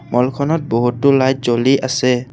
মল খনত বহুতো লাইট জ্বলি আছে।